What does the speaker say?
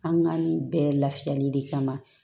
An ka nin bɛɛ lafiyali de kama